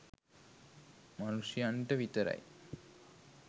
මනුෂ්‍යයන්ට විතරයි.